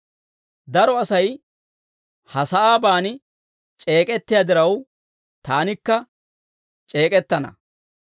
Daro Asay ha sa'aaban c'eek'ettiyaa diraw, taanikka c'eek'ettana.